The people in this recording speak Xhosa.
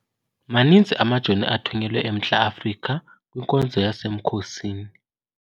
Maninzi amajoni athunyelwe eMntla-Afrika kwinkonzo yasemkhosini.